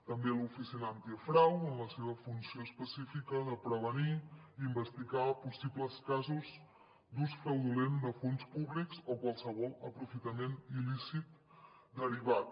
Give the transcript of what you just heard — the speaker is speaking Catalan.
també l’oficina antifrau en la seva funció específica de prevenir i investigar possibles casos d’ús fraudulent de fons públics o qualsevol aprofitament il·lícit derivat